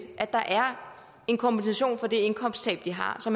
at der er en kompensation for det indkomsttab de har så